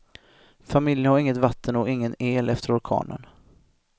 Familjen har inget vatten och ingen el efter orkanen.